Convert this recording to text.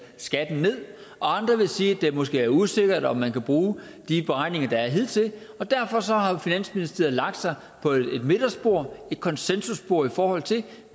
skatten ned og andre vil sige at det måske er usikkert om man kan bruge de beregninger der er hidtil og derfor har finansministeriet lagt sig på et midterspor et konsensusspor i forhold til